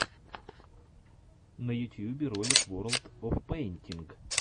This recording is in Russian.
на ютьюбе ролик ворлд оф пэйнтинг